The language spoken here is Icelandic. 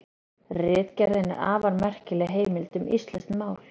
Ritgerðin er afar merkileg heimild um íslenskt mál.